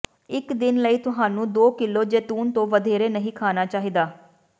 ਇੱਕ ਦਿਨ ਲਈ ਤੁਹਾਨੂੰ ਦੋ ਕਿਲੋ ਜੈਤੂਨ ਤੋਂ ਵਧੇਰੇ ਨਹੀਂ ਖਾਣਾ ਚਾਹੀਦਾ